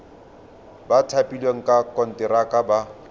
ba thapilweng ka konteraka ba